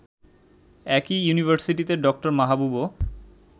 একই ইউনিভার্সিটিতে ড. মাহবুবও